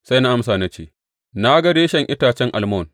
Sai na amsa na ce, Na ga reshen itacen almon.